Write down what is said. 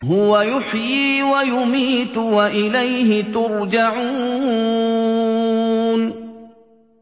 هُوَ يُحْيِي وَيُمِيتُ وَإِلَيْهِ تُرْجَعُونَ